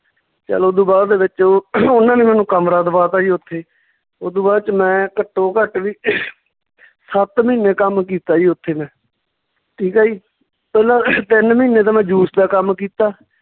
ਚੱਲ ਓਦੂ ਬਾਅਦ ਦੇ ਵਿੱਚ ਉਹ ਉਹਨਾਂ ਨੇ ਮੈਨੂੰ ਕਮਰਾ ਦਵਾਤਾ ਜੀ ਓਥੇ ਓਦੂ ਬਾਅਦ ਚ ਮੈਂ ਘੱਟੋ ਘੱਟ ਵੀ ਸੱਤ ਮਹੀਨੇ ਕੰਮ ਕੀਤਾ ਜੀ ਓਥੇ ਮੈਂ ਠੀਕ ਆ ਜੀ ਪਹਿਲਾਂ ਤਿੰਨ ਮਹੀਨੇ ਤਾਂ ਮੈਂ juice ਦਾ ਕੰਮ ਕੀਤਾ